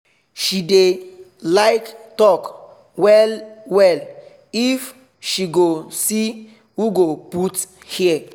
she dey like talk well well if she go see who go put ear